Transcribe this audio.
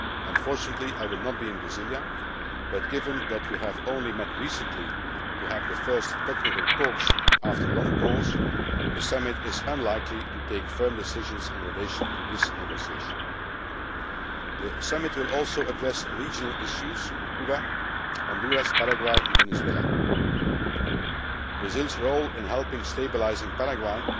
Unfortunately, I will not be in Brasilia, but given that we have only met recently to have the first technical talks after a long pause the Summit is unlikely to take firm decisions in relation to this negotiation. The Summit will also address regional issues Cuba, Honduras, Paraguay and Venezuela. Brazil's role in helping to stabilise